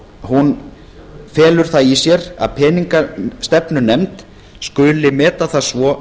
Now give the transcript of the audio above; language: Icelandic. hún felur það í sér að peningastefnunefnd skuli meta það svo